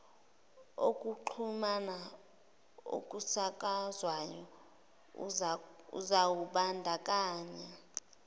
okokuxhumana okusakazwayo uzawubandakanya